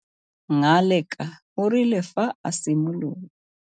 Ngaleka o rile fa a simolola.